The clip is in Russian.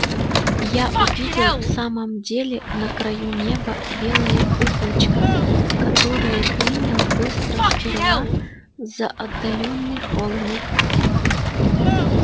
я увидел в самом деле на краю неба белое облачко которое принял быстро сперва за отдалённый холмик